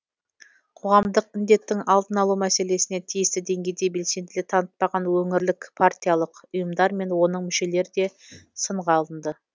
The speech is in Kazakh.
қоғамдық індеттің алдын алу мәселесіне тиісті деңгейде белсенділік танытпаған өңірлік партиялық ұйымдар мен оның мүшелері де сынға алынды